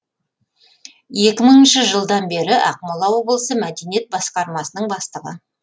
екі мыңыншы жылдан бері ақмола облысы мәдениет басқармасының бастығы